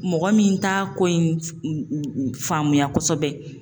Mɔgɔ min t'a ko in faamuya kosɛbɛ